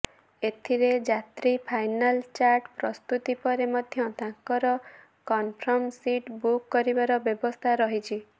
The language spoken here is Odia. ଏଥିରେ ଯାତ୍ରୀ ଫାଇନାଲ ଚାର୍ଟ ପ୍ରସ୍ତୁତି ପରେ ମଧ୍ୟ ତାଙ୍କର କନଫର୍ମ ସିଟ୍ ବୁକ୍ କରିବାର ବ୍ୟବସ୍ଥା ରହିଛି